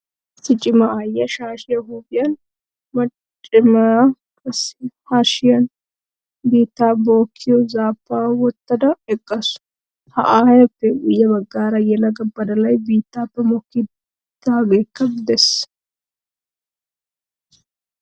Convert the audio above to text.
Issi cima aayiyaa shaashiyaa huuphiyan macadamia qassi hashiyan biittaa bokkiyoo zaappaa wotttada eqqaasu. Ha ayyeeppe guyye baggan yelaga badalay bittaappe mokkidaageekka de'ees.